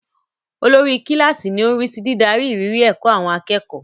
Olórí kíláàsì ni ó ń rí sí dídarí ìrírí ẹ̀kọ́ àwọn akẹ́kọ̀ọ́.